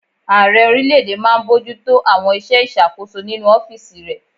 Ààrẹ orílẹ̀-èdè máa n bojútó àwọn iṣẹ́ ìṣàkóso nínu ọ́fìsì rẹ̀